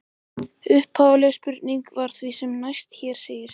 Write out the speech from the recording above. Upphafleg spurning var því sem næst sem hér segir: